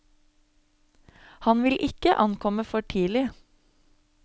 Han vil ikke ankomme for tidlig.